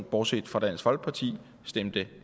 bortset fra dansk folkeparti stemte